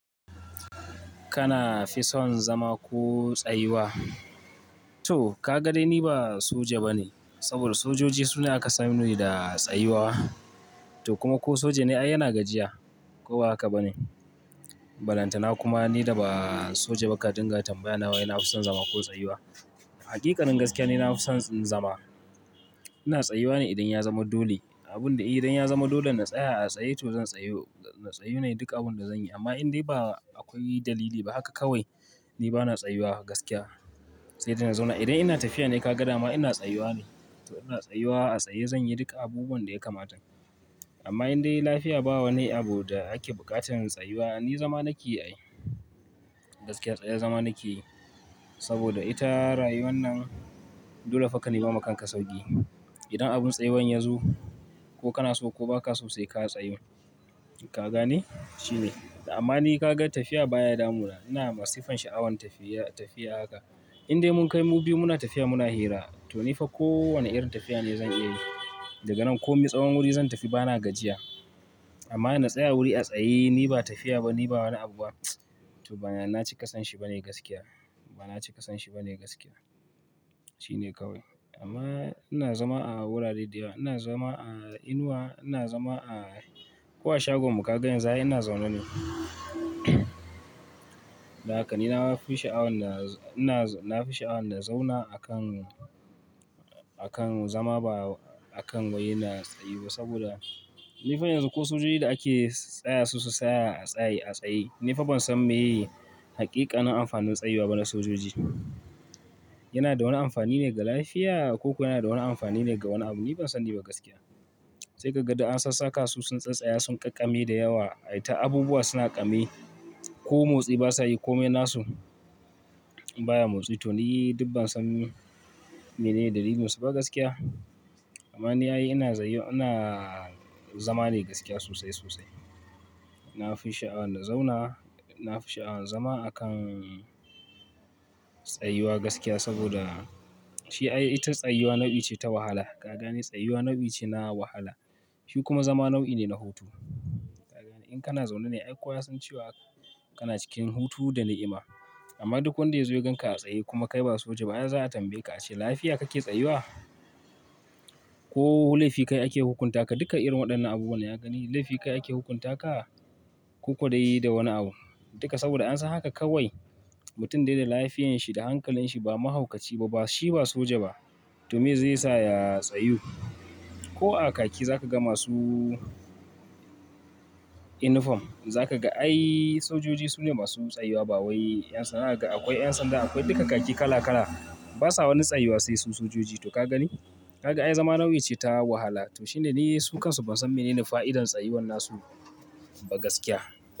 Kana fi son zama ko tsayuwa? To kaga dai ni ba soja bane. Sabida sojoji su ne aka sani da tsayuwa. To kuma ko soja ne ai yana gajiya ko ba haka bane. Balantana kuma ni da ba soja ba ka dinga tambaya na wai nafi son zama ko tsayuwa. Haƙiƙanin gaskiya ni nafi son zama. Ina tsayuwa ne idan ya zama dole. Abunda iyi, idan ya zama dole na tsaya a tsaye to zan tsayu. Na tsayu ne duk abunda zan yi. Amma in dai ba akwai dalili ba haka kawai ni bana tsayuwa gaskiya. Sai dai na zauna. Idan ina tafiya ne kaga dama ina tsayuwa ne. To ina tsayuwa a tsaye zan yi duk abubuwan da yakamata. Amma indai lafiya ba wa lni abu da ake buƙatan tsayuwa ni zama nake yi ai. Gaskiya tsaya zama nake yi. Saboda ita rayuwar nan dole fa ka nema ma kan sauƙi. Idan abun tsayuwan ya zo ko kana so ko ba ka so sai ka tsayu. Ka gane? Shine. Amma ni kaga tafiya baya damuna. Ina masifan sha'awan tafiya tafiya haka. Indai mun kai mu biyu muna tafiya muna hira to ni fa ko wane irin tafiya ne zan iya yi. Daga nan ko mi tsawon wuri zan tafi bana gajiya. Amma na tsaya wuri a tsaye ni ba tafiya ba ni ba wani abu ba to bana cika son shi bane gaskiya. Bana ci ƙasan shi bane gaskiya. Shine kawai. Amma ina zama a wurare da yawa. Ina zama a inuwa, ina zama a ko a shagon mu kaga yanzu ai ina zaune ne. Dan haka ni na ma fi sha'awan na, ina nafi sha'awan na zauna akan, akan zama ba akan wai na tsayu ba saboda, nifa yanzu ko sojoji da ake tsaya su su tsaya a tsaye a tsaye nifa ban san meye haƙiƙanin amfanin tsayuwa ba na sojoji. Yana da wani amfani ne ga lafiya ko kuwa yana da wani amfani ne ga wani abu ni ban sani ba gaskiya. Sai kaga duk an sassaka su sun tsatstsaya sun ƙaƙƙame da yawa ai ta abubuwa suna ƙame ko motsi ba sa yi ko me nasu baya motsi to ni dubban san menene dalilin su ba gaskiya. Amma ni ai ina tsayu ina zama ne gaskiya sosai sosai. Na fi sha'awan na zauna. Na fi sha'awan zama akan tsayuwa gaskiya saboda shi ai ita tsayuwa nau'i ce ta wahala. Ka gane? Tsayuwa nau'i ce na wahala. Shi kuma zama nau'i ne na hutu. Ka gane? In kana zaune ne ai kowa ya san cewa kana cikin hutu da na'ima. Amma indai lafiya bawa ne abu da ake buƙatarin tsayuwa ni zama nake yi ai. Duka irin waɗannan abubuwan ai. Ka gani laifi kayi ake hukunta ka? Ko ko dai da wani abu? Duka saboda an san haka kawai mutum dai da lafiyanshi da hankalin shi ba mahaukaci ba. Ba shi ba soja ba to meye zai sa ya tsayu? Ko a kaki zaka ga masu inifom. Zaka ga ai sojoji su ne masu tsayuwa ba wai ƴan sanda. Kaga akwai ƴan sanda akwai duka kaki kala kala. Ba sa wani tsayuwa sai su sojoji to ka gani? Haka ai zama nau'i ce ta wahala. To shine ni su kansu ban san menene fa'idar tsayuwan nasu ba gaskiya.